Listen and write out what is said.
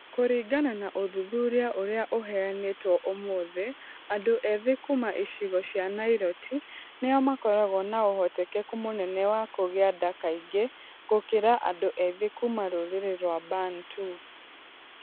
Kũringana na ũthuthuria ũrĩa ũheanĩtwo ũmũthĩ, andũ ethĩ kuuma icigo cia nairoti nĩo makoragwo na ũhotekeku mũnene wa kũgĩa nda kaingĩ gũkĩra andũ ethĩ kuuma rurĩrĩ rwa Bantu.